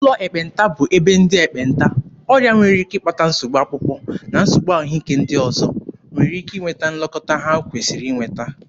Ụlọ ekpenta bụ ebe ndị ekpenta, ọrịa nwere ike ịkpata nsogbu akpụkpọ na nsogbu ahụike ndị ọzọ, nwere ike nweta nlekọta ha kwesịrị inweta.